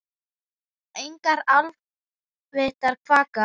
Engar álftir kvaka.